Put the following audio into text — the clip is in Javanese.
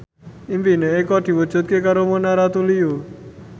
impine Eko diwujudke karo Mona Ratuliu